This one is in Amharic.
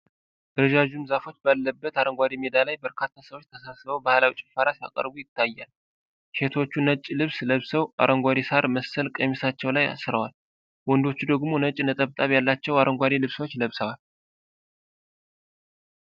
ረዣዥም ዛፎች ባለበት አረንጓዴ ሜዳ ላይ በርካታ ሰዎች ተሰብስበው ባህላዊ ጭፈራ ሲያቀርቡ ይታያል። ሴቶቹ ነጭ ልብስ ለብሰው አረንጓዴ ሣር መሰል ቀሚሳቸው ላይ አስረዋል፤ ወንዶቹ ደግሞ ነጭ ነጠብጣብ ያላቸው አረንጓዴ ልብሶችን ለብሰዋል።